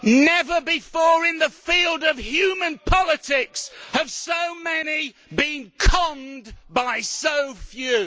Never before in the field of human politics have so many been conned by so few.